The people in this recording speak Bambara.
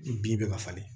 Bin bɛ ka falen